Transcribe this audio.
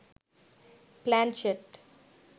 planchette